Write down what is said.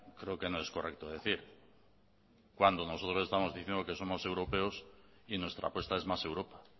creo que no es correcto decir cuando nosotros estamos diciendo que somos europeos y nuestra apuesta es más europa